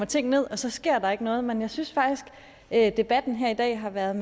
ting ned og så sker der ikke noget men jeg synes faktisk at debatten her i dag har været